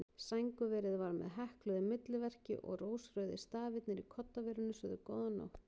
Sængurverið var með hekluðu milliverki og rósrauðir stafirnir í koddaverinu sögðu: Góða nótt.